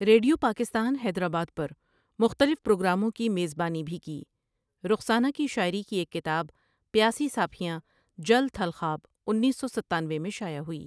Radio Pakistan Hyderabad پر مختلف پروگراموں کی میزبانی بھی کی رخسانہ کی شاعری کی ایک کتاب پياسی ساڀھیاں جل تھل خواب انیس سو ستانوے میں شائع ہوئی ۔